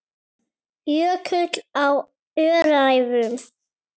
Jökull á Öræfum.